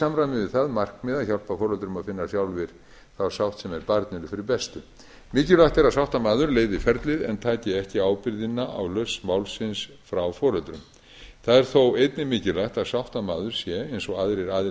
samræmi við það markmið að hjálpa foreldrum að finna sjálfir þá sátt sem er barninu fyrir bestu mikilvægt er að sáttamaður leiði ferlið en taki ekki ábyrgðina á lausn málsins frá foreldrum það er þó einnig mikilvægt að sáttamaður sé eins og aðrir aðilar